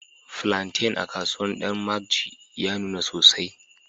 flantain a kasuwar danmagji ya nuna sosai.